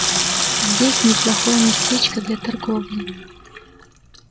здесь неплохое местечко для торговли